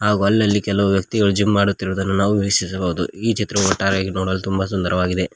ಹಾಗು ಅಲ್ಲಲ್ಲಿ ಕೆಲವು ವ್ಯಕ್ತಿಗಳು ಜಿಮ್ ಮಾಡುತ್ತಿರುವುದನ್ನು ನಾವು ವೀಕ್ಷಿಸಬಹುದು ಈ ಚಿತ್ರವೂ ಒಟ್ಟಾರೆಯಾಗಿ ನೋಡಲು ತುಂಬ ಸುಂದರವಾಗಿದೆ.